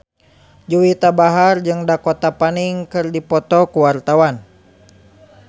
Juwita Bahar jeung Dakota Fanning keur dipoto ku wartawan